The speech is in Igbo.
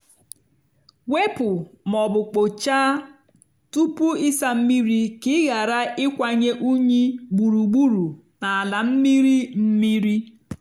wepu ma ọ bụ kpochaa tupu ịsa mmiri ka ị ghara ịkwanye unyi gburugburu n'ala mmiri mmiri.